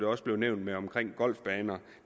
også nævnt noget om golfbaner